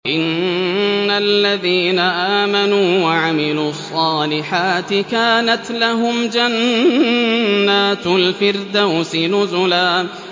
إِنَّ الَّذِينَ آمَنُوا وَعَمِلُوا الصَّالِحَاتِ كَانَتْ لَهُمْ جَنَّاتُ الْفِرْدَوْسِ نُزُلًا